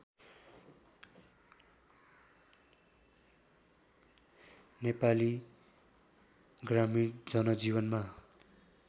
नेपाली ग्रामीण जनजीवनमा